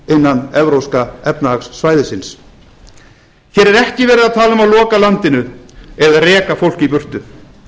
innan evrópska efnahagssvæðisins hér er ekki verið að tala um að loka landinu eða reka fólk í burtu